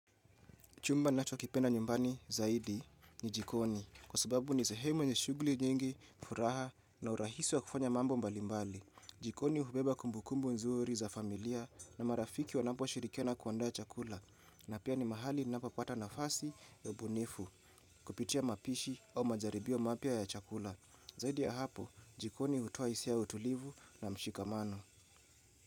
Chumba nachokipenda nyumbani zaidi ni jikoni kwa sababu ni sehemu yenye shughuli nyingi, furaha na urahisi wa kufanya mambo mbalimbali. Jikoni hubeba kumbukumbu nzuri za familia na marafiki wanap shirikiana kuandaa chakula. Na pia ni mahali ninapopata nafasi ya ubunifu kupitia mapishi au majaribio mapya ya chakula. Zaidi ya hapo jikoni hutoa hisia ya utulivu na mshikamano.